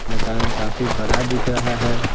मकान काफी बड़ा दिख रहा है।